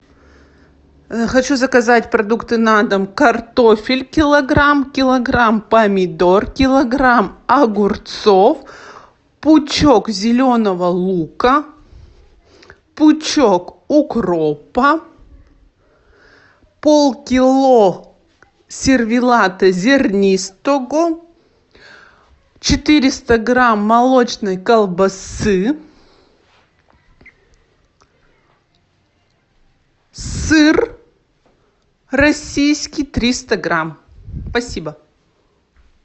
хочу заказать продукты на дом картофель килограмм килограмм помидор килограмм огурцов пучок зеленого лука пучок укропа полкило сервелата зернистого четыреста грамм молочной колбасы сыр российский триста грамм спасибо